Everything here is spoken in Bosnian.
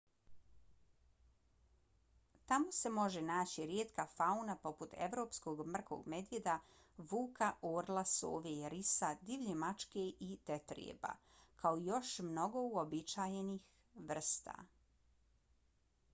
tamo se može naći rijetka fauna poput evropskog mrkog medvjeda vuka orla sove risa divlje mačke i tetrijeba kao i još mnogo uobičajenih vrsta